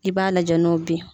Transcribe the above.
I b'a lajɛ n'o bɛ ye.